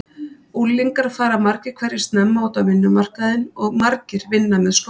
Unglingar fara margir hverjir snemma út á vinnumarkaðinn og margir vinna með skóla.